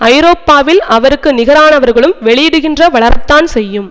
ஐரோப்பாவில் அவருக்கு நிகரானவர்களும் வெளியிடுகின்ற வளரத்தான் செய்யும்